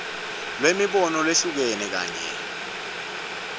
lwemibono leyehlukene kanye